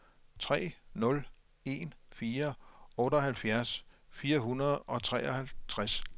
tre nul en fire otteoghalvfjerds fire hundrede og treoghalvtreds